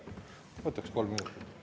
Ma võtaksin veel kolm minutit.